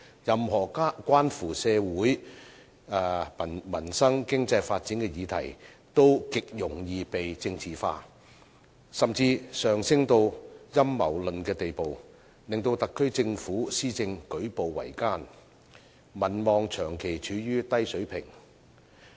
任何關乎社會民生、經濟發展的議題，都極容易被政治化，甚至上升至陰謀論的地步，令特區政府施政舉步維艱，民望長期處於低水平。